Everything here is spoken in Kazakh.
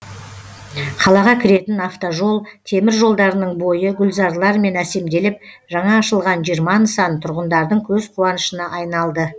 қалаға кіретін автожол темір жолдарының бойы гүлзарлармен әсемделіп жаңа ашылған жиырма нысан тұрғындардың көзқуанышына айналды